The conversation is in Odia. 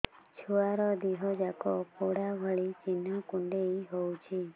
ଛୁଆର ଦିହ ଯାକ ପୋଡା ଭଳି ଚି଼ହ୍ନ କୁଣ୍ଡେଇ ହଉଛି